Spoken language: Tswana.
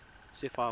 sefako